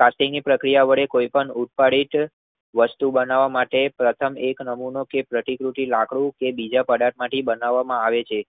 કાસ્ટિંગની પ્રક્રિયા વડે કોઈ પણ ઉત્પાદિ છે વસ્તુ બનાવ માટે પેર્ટન એક નમૂનો કે પ્રતિકૃતિ લાકડું કે બીજા પદાર્થ માંથી બનાવામાં આવે છે.